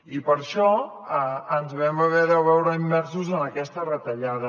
i per això ens vam haver de veure immersos en aquesta retallada